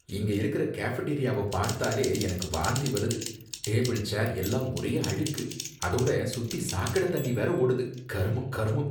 இங்க இருக்கிற கேஃபடேரியாவ பார்த்தாலே எனக்கு வாந்தி வருது. டேபிள், சேர் எல்லாம் ஒரே அழுக்கு, அதோட சுத்தி சாக்கட தண்ணி வேற ஓடுது, கருமம்! கருமம்!